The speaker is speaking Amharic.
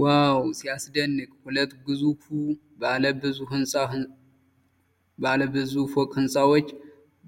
ዋው! ሲያስደንቅ! ሁለት ግዙፍ ባለ ብዙ ፎቅ ህንፃዎች